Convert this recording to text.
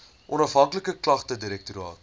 onafhanklike klagtedirektoraat